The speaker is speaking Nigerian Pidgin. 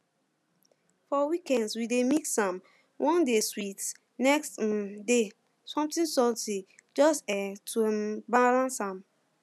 for weekdays we dey mix am one day sweet next um day something salty just um to um balance am